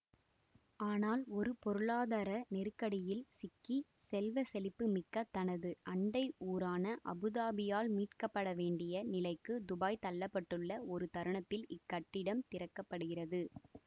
ஆனால் ஒரு பொருளாதார நெருக்கடியில் சிக்கி செல்வ செழிப்பு மிக்க தனது அண்டை ஊரான அபுதாபியால் மீட்கப்படவேண்டிய நிலைக்கு துபாய் தள்ள பட்டுள்ள ஒரு தருணத்ததில் இக்கட்டிடம் திறக்கப்படுகிறது